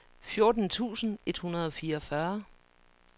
fjorten tusind et hundrede og fireogfyrre